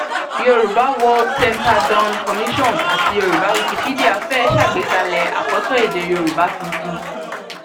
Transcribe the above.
yorùbá world center dawn commission àti yorùbá wikipedia fẹẹ ṣàgbékalẹ akoto èdè yorùbá tuntun